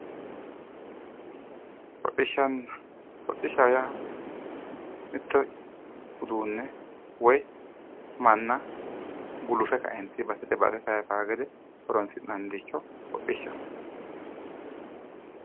Hodishshanna, hodhishsha yaa mitto uduune woyi manna gulufe kaentinni basete base sayisano gede horonsi'nanniricho hodhishshaho.